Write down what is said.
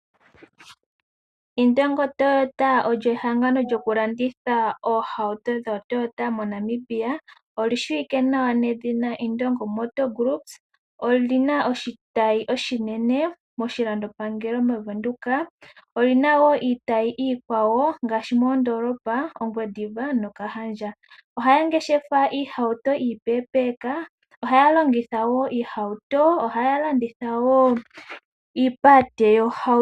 Indongo Toyota olyo ehangano lyoku landitha oohauto dhooToyota moNamibia, oli shiwike nawa nedhina Indongo Motor Groups. Olyina oshitayi oshinene moshilando pangelo moVenduka. Oyina wo iitayi iikwawo ngaashi moondolopa Ongwediva nOkahandja. Ohaya ngeshefa iihauto iipeepeeka. Ohaya longitha wo iihauto. Ohaya landitha wo iipalete yoohauto.